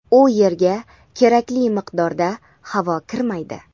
u yerga kerakli miqdorda havo kirmaydi.